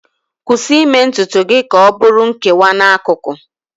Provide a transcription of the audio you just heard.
Kwụsị ime ntutu gị ka ọ bụrụ nkewa n'akụkụ